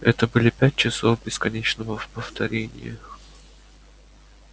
это были пять часов бесконечного повторения